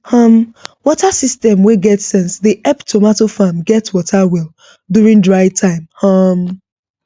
um water system wey get sense dey help tomato farm get water well during dry time um